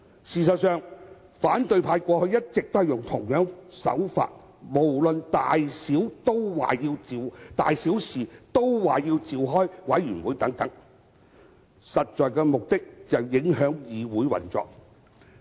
事實上，反對派過去一直以相同手法，事無大小均要求召開委員會，目的是要影響議會運作。